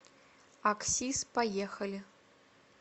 аксис поехали